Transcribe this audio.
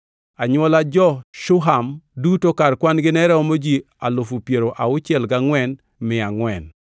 Anywola jo-Shuham duto kar kwan-gi ne romo ji alufu piero auchiel gangʼwen mia angʼwen (64,400).